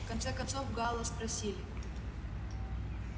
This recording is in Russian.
в конце концов гаала спросили